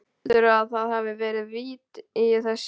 Heldurðu að það hafi verið vit í þessu?